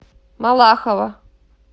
малахова